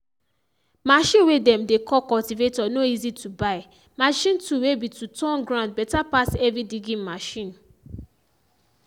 machine way dem dey call cultivator na easy to buy machine tool way be to turn ground beta pass heavy digging machine.